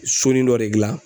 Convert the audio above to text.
Soni dɔ de gilan